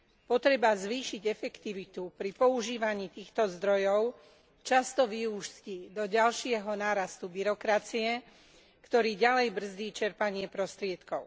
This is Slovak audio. Potreba zvýšiť efektivitu pri používaní týchto zdrojov často vyústi do ďalšieho nárastu byrokracie, ktorý ďalej brzdí čerpanie prostriedkov.